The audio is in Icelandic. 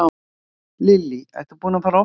Lillý: Ertu búinn að fara oft á skíði?